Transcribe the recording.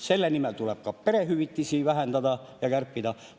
Selle nimel tuleb ka perehüvitisi vähendada ja kärpida.